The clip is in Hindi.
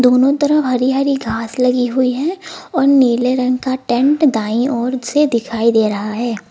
दोनों तरफ हरी हरी घास लगी हुई है और नीले रंग का टेंट दाई ओर से दिखाई दे रहा है।